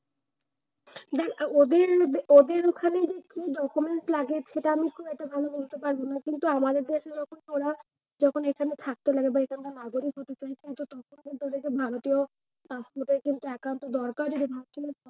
না ওদের ওদের ওখানে কি documents লাগে সেটা আমি খুব একটা ভালো বলতে পারব না। কিন্তু আমাদের দেশে যখন ওরা এখানা থাকতো বা এইখানকার নাগরিক হতে চাইতো। তখন কিন্তু ওদের কে ভারতীয় paspot এর একান্ত দরকার